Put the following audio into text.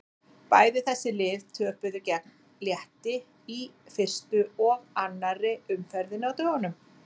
Bæði þessi lið töpuðu gegn Létti í fyrstu og annarri umferðinni á dögunum.